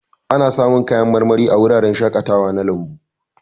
Ana samun kayan marmari a wuraren shakatawa na lambu.